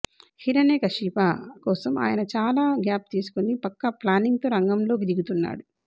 హిరణ్య కశిప కోసం ఆయన చాలా గ్యాప్ తీసుకుని పక్కా ప్లానింగుతో రంగంలోకి దిగుతున్నాడు